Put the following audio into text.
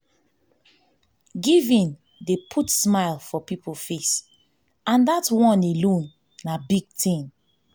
giving dey put smile for people face and dat one alone na big thing